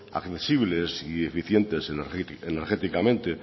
admisibles y eficientes energéticamente